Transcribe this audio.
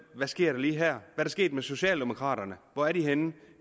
hvad sker der lige her hvad der sket med socialdemokraterne hvor er de henne